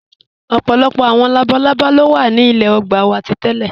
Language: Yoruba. Ọpọlọpọ awọn labàlàbá lo wa ní ilẹ̀ ògbà wa tí tẹ̀lẹ.